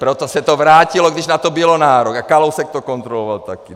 Proto se to vrátilo, když na to byl nárok, a Kalousek to kontroloval taky.